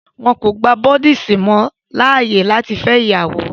wón kò gbà Buddhist monk láàyè lati fẹ ìyàwó.